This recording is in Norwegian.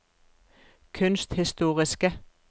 kunsthistoriske